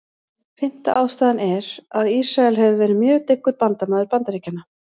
Fimmta ástæðan er, að Ísrael hefur verið mjög dyggur bandamaður Bandaríkjanna.